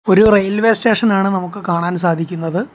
ഒരു റെയിൽവേ സ്റ്റേഷനാണ് നമുക്ക് കാണാൻ സാധിക്കുന്നത്.